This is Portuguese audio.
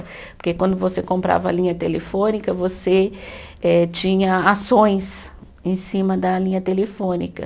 Porque quando você comprava a linha telefônica, você eh tinha ações em cima da linha telefônica.